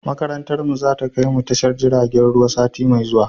Makarantar mu zai kai mu tashar jiragen ruwa sati mai zuwa